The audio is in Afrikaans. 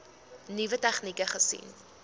nuwe tegnieke gesien